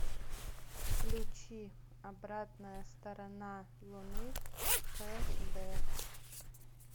включи обратная сторона луны хд